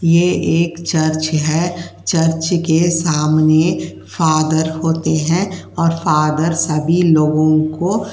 ये एक चर्च है। चर्च के सामने फॉदर होते हैं और फॉदर सभी लोगों को --